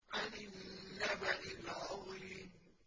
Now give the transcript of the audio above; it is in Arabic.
عَنِ النَّبَإِ الْعَظِيمِ